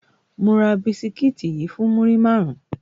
Mo ra bisikiti yii fun muri marun